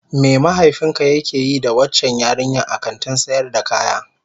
Me mahaifinka yake yi da waccan yarinyar a kantin sayar da kaya?